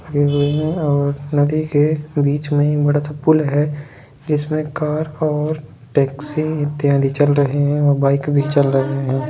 लगे हुए है और नदी के बिच मे एक बड़ा सा पुल है जिसमे कार और टेक्सी इत्यादि चल रही है और बाइक भी चल रही है।